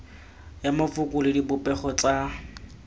ya mafoko le dipopego tsa